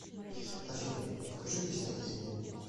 афина покажи где снять деньги